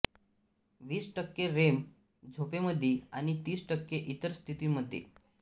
वीस टक्के रेम झोपेमध्ये आणि तीस टक्के इतर स्थितीमध्ये